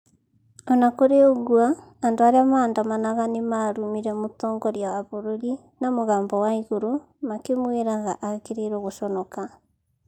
O na kũri ũguo andũ arĩa maandanamaga nĩ marumire mũtongoria wa bũrũri na mũgambo wa igũrũ makĩmwĩraga agĩrĩrwo gũconoka.